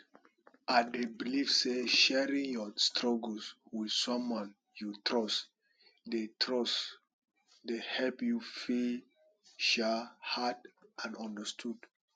i dey believe say sharing your struggles with someone you trust dey trust dey help you feel um heard and understood